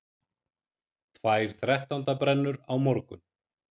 Tvær þrettándabrennur á morgun